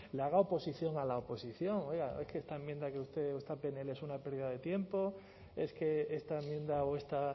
le haga oposición a la oposición oiga es que esta enmienda que ustedes o esta pnl es una pérdida de tiempo es que esta enmienda o esta